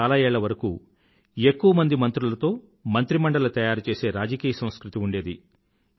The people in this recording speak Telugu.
భారతదేశంలో చాలా ఏళ్ల వరకూ ఎక్కువమంది మంత్రులతో మంత్రిమండలి తయారుచేసే రాజకీయ సంస్కృతి ఉండేది